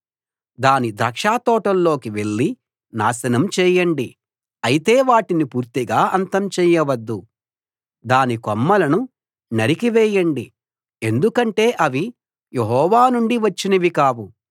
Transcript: దాని ద్రాక్షతోటల్లోకి వెళ్ళి నాశనం చేయండి అయితే వాటిని పూర్తిగా అంతం చేయవద్దు దాని కొమ్మలను నరికి వేయండి ఎందుకంటే అవి యెహోవా నుండి వచ్చినవి కావు